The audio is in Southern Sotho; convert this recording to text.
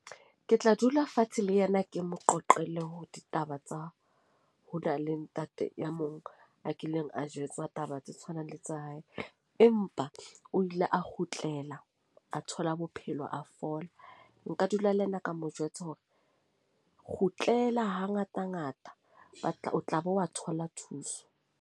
Ke tla dula fatshe le yena, ke mo qoqele ho ditaba tsa ho na le ntate ya mong a kileng a jwetsa taba tse tshwanang le tsa hae, empa o ile a kgutlela a thola bophelo a fola. Nka dula le yena ka mo jwetse hore kgutlela hangata ngata ba tla o tla bo wa thola thuso.